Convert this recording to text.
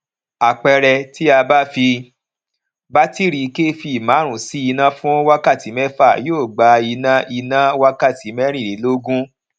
àpẹẹrẹ ti a bá fi batiri kv márùn sí iná fún wákàtí mẹfa yóò gbà iná iná wakati merinlelogun